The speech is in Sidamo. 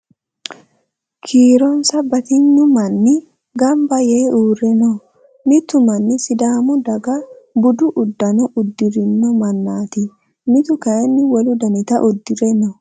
Kiironsa batignu manni gamba yee uurre no. Mitu manni sidaamu daga budu uddano uddirino mannaati. Mitu kayii wolu danita uddire no.